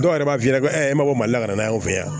Dɔw yɛrɛ b'a f'i ɲɛnɛ ko e mako ma ka na anw fɛ yan